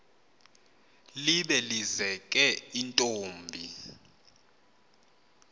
libe lizeke intombi